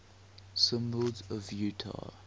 symbols of utah